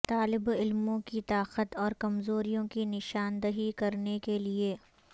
طالب علموں کی طاقت اور کمزوریوں کی نشاندہی کرنے کے لئے